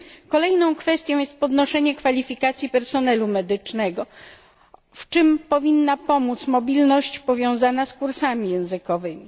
Kolejną kwestią jest podnoszenie kwalifikacji personelu medycznego, w czym powinna pomóc mobilność powiązana z kursami językowymi.